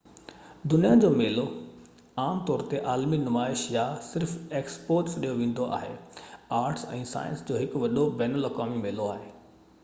دنيا جو ميلو عام طور تي عالمي نمائش، يا صرف ايڪسپو سڏيو ويندو آهي آرٽس ۽ سائنس جو هڪ وڏو بين الاقوامي ميلو آهي